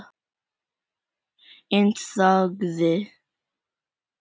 En þagði.